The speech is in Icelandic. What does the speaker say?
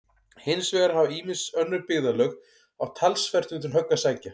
Hins vegar hafa ýmis önnur byggðarlög átt talsvert undir högg að sækja.